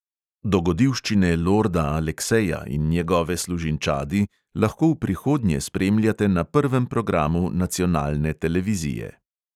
Dogodivščine lorda alekseja in njegove služinčadi lahko v prihodnje spremljate na prvem programu nacionalne televizije.